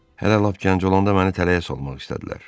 Hələ lap gənc olanda məni tələyə salmaq istədilər.